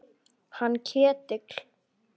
Hann Ketil?